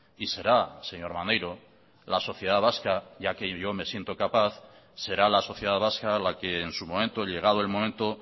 y será señor maneiro la sociedad vasca ya que yo me siento capaz será la sociedad vasca la que en su momento llegado el momento